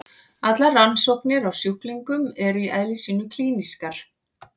Allar rannsóknir á sjúklingum eru í eðli sínu klínískar.